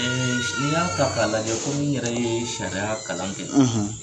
n'i y'a ta k'a lajɛ komi i yɛrɛ ye sariya kalan kɛ.